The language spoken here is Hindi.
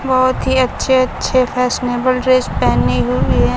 बहोत ही अच्छे अच्छे फैशनेबल ड्रेस पहने हुई हैं।